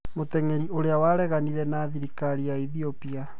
Mũteng'eri ũrĩa wareganire na thirikari ya Ethiopia